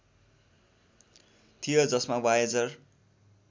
थियो जसमा वायेजर